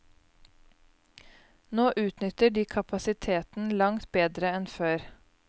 Nå utnytter de kapasiteten langt bedre enn før.